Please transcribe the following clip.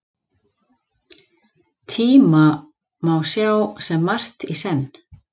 Tíma má sjá sem margt í senn.